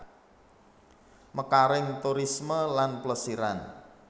Mekaring turisme lan plesiran